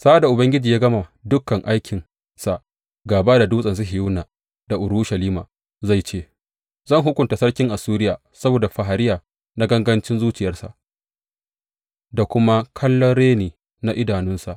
Sa’ad da Ubangiji ya gama dukan aikinsa gāba da Dutsen Sihiyona da Urushalima, zai ce, Zan hukunta sarkin Assuriya saboda fariya na gangancin zuciyarsa da kuma kallon reni na idanunsa.